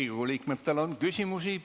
Riigikogu liikmetel on küsimusi.